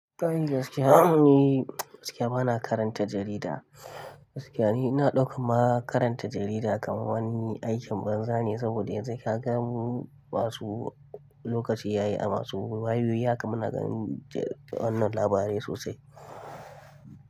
Kayi gaskiya ni gaskiya bana karanta jarida. Gaskiya ni ina ɗauka karanta jarida kamar wani aikin banza ne saboda yanzu ka gan masu lokaci yayi a masu wayoyi ya kamana ganin wannan labarai sosai.